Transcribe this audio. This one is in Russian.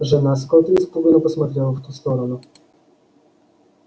жена скотта испуганно посмотрела в ту сторону